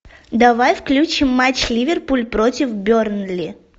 давай включим матч ливерпуль против бернли